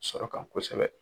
Sɔrɔ kan kosɛbɛ.